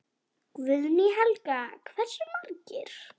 Guðný Helga: Hversu margir?